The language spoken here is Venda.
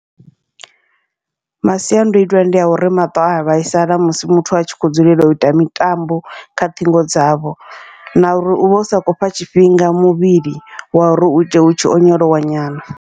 Masiandoitwa ndia uri maṱo aya vhaisala musi muthu a tshi kho dzulela uita mitambo kha ṱhingo dzavho, na uri uvha usa khou fha tshifhinga muvhili wa uri uite u tshi onyolowa nyana.